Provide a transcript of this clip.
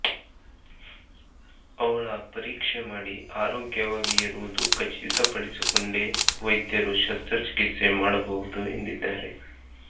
ಅವಳ ಪರೀಕ್ಷೆ ಮಾಡಿ ಆರೋಗ್ಯವಾಗಿ ಇರುವುದು ಖಚಿತಪಡಿಸಿಕೊಂಡೇ ವೈದ್ಯರು ಶಸ್ತ್ರಚಿಕಿತ್ಸೆ ಮಾಡಬಹುದು ಎಂದಿದ್ದಾರೆ